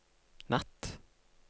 natt